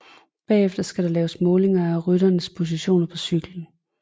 Bagefter skal der laves målinger af rytterens position på cyklen